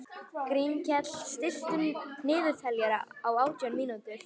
Grímkell, stilltu niðurteljara á átján mínútur.